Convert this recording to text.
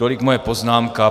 Tolik moje poznámka.